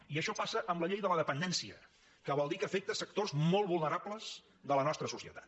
i això passa amb la llei de la dependència que vol dir que afecta sectors molt vulnerables de la nostra societat